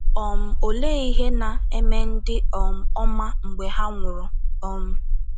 um Olee ihe na - eme ndị um ọma mgbe ha nwụrụ um?